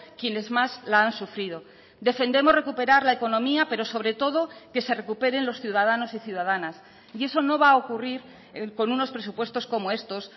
quienes más la han sufrido defendemos recuperar la economía pero sobre todo que se recuperen los ciudadanos y ciudadanas y eso no va a ocurrir con unos presupuestos como estos